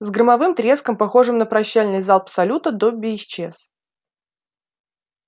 с громовым треском похожим на прощальный залп салюта добби исчез